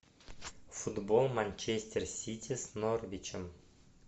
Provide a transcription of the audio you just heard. футбол манчестер сити с норвичем